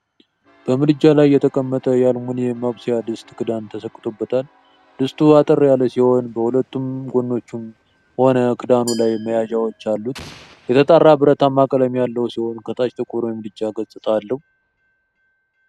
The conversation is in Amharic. በምድጃ ላይ የተቀመጠ የአልሙኒየም ማብሰያ ድስት ክዳን ተሰክቶበታል። ድስቱ አጠር ያለ ሲሆን በሁለቱም ጎኖቹም ሆነ ክዳኑ ላይ መያዣዎች አሉት። የተጣራ ብረታማ ቀለም ያለው ሲሆን ከታች ጥቁር የምድጃ ገጽታ አለ።